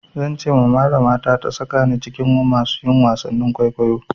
Zan ce malama ta sakani cikin masu yi wasan kwaikwayo.